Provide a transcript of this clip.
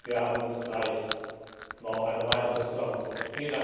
Wir haben jetzt gleich noch eine weitere Zusammenkunft.